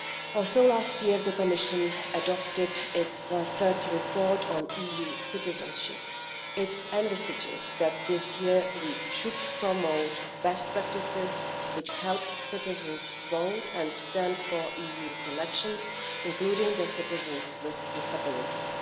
Also, last year, the Commission adopted its third report on EU citizenship. It envisages that this year we should promote best practices which help citizens vote and stand in EU elections, including citizens with disabilities.